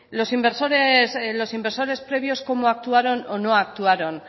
los inversores previos cómo actuaron o no actuaron